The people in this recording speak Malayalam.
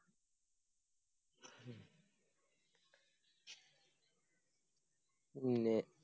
പിന്നെ